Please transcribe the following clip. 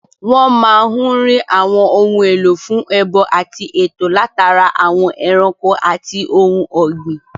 Wọ́n máa n rí àwọn ohun èlò fún ẹbọ àti ètò látara àwọn ẹranko àti ohun ògbìn